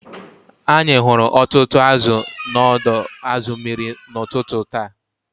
Anyị hụrụ ọtụtụ azụ̀ n’ọdọ azu mmiri n’ụtụtụ taa